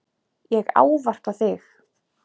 Ég ávarpa þig